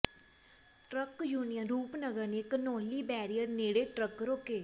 truck union Rupnagar ਨੇ Ghanauli barrier ਨੇੜੇ truck ਰੋਕੇ